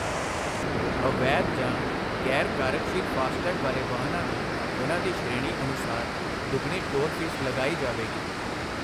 ਅਵੈਧ ਜਾਂ ਗ਼ੈਰ ਕਾਰਜਸ਼ੀਲ ਫਾਸਟਟੈਗ ਵਾਲੇ ਵਾਹਨਾਂ ਨੂੰ ਉਨ੍ਹਾਂ ਦੀ ਸ਼੍ਰੇਣੀ ਅਨੁਸਾਰ ਦੁੱਗਣੀ ਟੋਲ ਫੀਸ ਲਗਾਈ ਜਾਵੇਗੀ